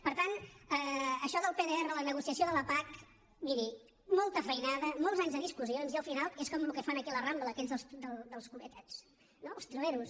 per tant això del pdr la negociació de la pac miri molta feinada molts anys de discussions i al final és com el que fan aquí a la rambla aquells dels gobelets els trileros